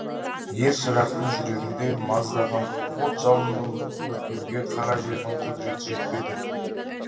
ер шырақтың жүрегінде маздаған от жалынын бүркеуге қара жердің құдіреті жетпеді